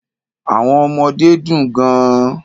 Àwọn ọmọdé dùn gan-an.